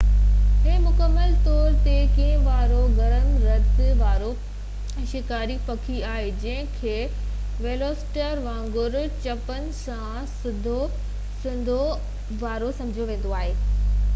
هي مڪمل طور تي کنڀن وارو گرم رت وارو شڪاري پکي آهي جنهن کي ويلوسيريپٽر وانگر چنبن سان سڌو سنئون ٻن ٽنگن تي هلڻ وارو سمجهيو ويندو هو